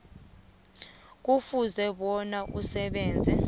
kufuze bona asebenze